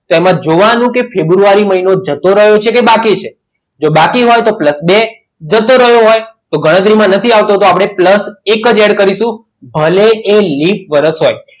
તેમજ જોવાનું કે ફેબ્રુઆરી મહિનો જતો રહ્યો છે કે બાકી છે જો બાકી હોય તો plus બે જતો રહ્યો હોય તો ગણતરીમાં નથી આવતો તો આપણે plus એક જ add કરીશું અને એવી લિપ વર્ષ હોય